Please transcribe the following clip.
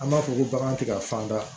An b'a fɔ ko bagan tɛ ka fan da